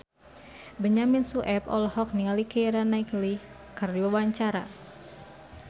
Benyamin Sueb olohok ningali Keira Knightley keur diwawancara